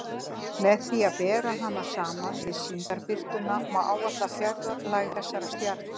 Með því að bera hana saman við sýndarbirtuna má áætla fjarlægð þessara stjarna.